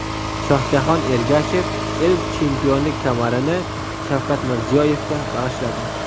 Shohjahon Ergashev ilk chempionlik kamarini Shavkat Mirziyoyevga bag‘ishladi .